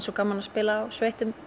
svo gaman að spila á sveittum